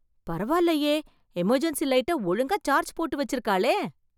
பரவாயில்லயே, எமர்ஜென்சி லைட்டை ஒழுங்கா சார்ஜ் போட்டு வெச்சிருக்காளே.